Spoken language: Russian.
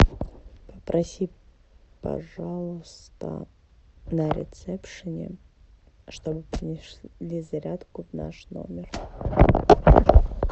попроси пожалуйста на ресепшене чтобы принесли зарядку в наш номер